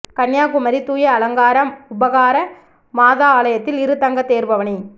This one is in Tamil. கன்னியாகுமரி தூய அலங்கார உபகார மாதா ஆலயத்தில் இரு தங்க தேர்பவனி